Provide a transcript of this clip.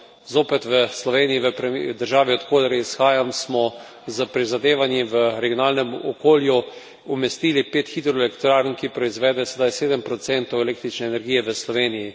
Zopet v Sloveniji, v državi, od koder izhajam, smo s prizadevanji v regionalnem okolju umestili pet hidroelektrarn, ki proizvedejo sedaj 7 električne energije v Sloveniji.